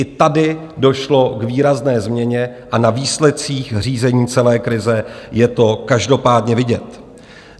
I tady došlo k výrazné změně a na výsledcích řízení celé krize je to každopádně vidět.